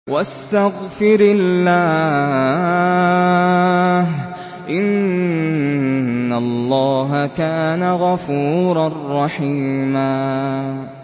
وَاسْتَغْفِرِ اللَّهَ ۖ إِنَّ اللَّهَ كَانَ غَفُورًا رَّحِيمًا